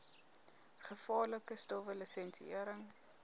gevaarlike stowwe lisensiëring